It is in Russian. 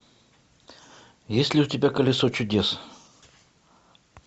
есть ли у тебя колесо чудес